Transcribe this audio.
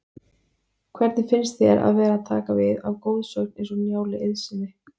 Hvernig finnst þér að vera að taka við af goðsögn eins og Njáli Eiðssyni?